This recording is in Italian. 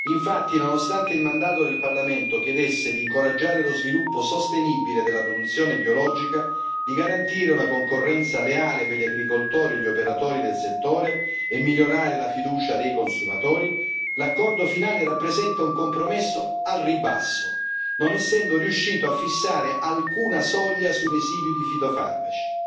Infatti, nonostante il mandato del Parlamento chiedesse di incoraggiare lo sviluppo sostenibile della produzione biologica, di garantire una concorrenza leale per gli agricoltori e gli operatori del settore e di migliorare la fiducia dei consumatori, l'accordo finale rappresenta un compromesso al ribasso, non essendo riuscito a fissare alcuna soglia sui residui di fitofarmaci